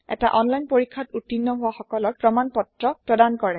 এটা অনলাইন পৰীক্ষাত উত্তীৰ্ণ হোৱা সকলক প্ৰমাণ পত্ৰ প্ৰদান কৰে